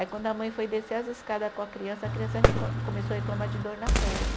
Aí quando a mãe foi descer as escadas com a criança, a criança recla, começou a reclamar de dor na perna.